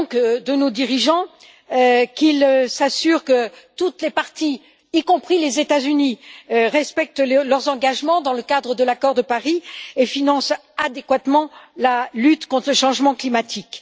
J'attends d'abord de nos dirigeants qu'ils s'assurent que toutes les parties, y compris les États Unis, respectent leurs engagements dans le cadre de l'accord de Paris et financent adéquatement la lutte contre le changement climatique.